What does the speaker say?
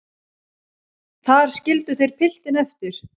Þar skildu þeir piltinn eftir.